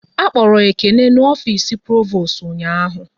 A kpọrọ Ekene n'ofisi Provost ụnyaahụ